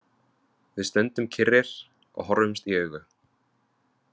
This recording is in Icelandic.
Við stöndum kyrrir og horfumst í augu.